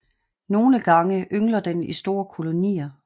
Nogle gange yngler den i store kolonier